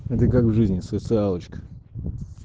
это как в жизни социалочка